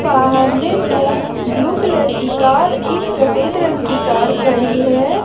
बाहर में दो ब्लू कलर की कार एक सफेद रंग की कार खड़ी है।